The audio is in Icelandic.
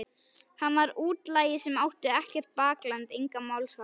Hann var útlagi sem átti ekkert bakland, engan málsvara.